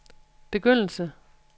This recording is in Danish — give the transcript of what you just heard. begyndelse